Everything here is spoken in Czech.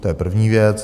To je první věc.